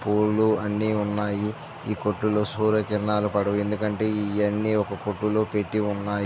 పూలు అన్ని ఉన్నాయి ఈ కొట్టు లో సూర్యకిరణాలు పడవు ఎందుకంటే ఇవ్వని ఒక కొట్టు లో పెట్టి వున్నాయి.